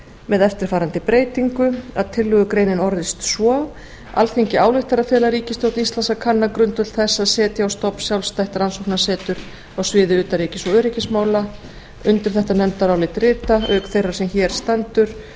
með eftirfarandi breytingu tillögugreinin orðist svo alþingi ályktar að fela ríkisstjórn íslands að kanna grundvöll þess að setja á stofn sjálfstætt rannsóknarsetur á sviði utanríkis og öryggismála undir þetta nefndarálit rita auk þeirrar sem hér stendur